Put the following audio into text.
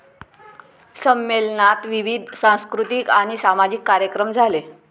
संमेलनात विविध सांस्कृतिक आणि सामाजिक कार्यक्रम झाले.